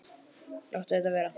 Láttu þetta vera!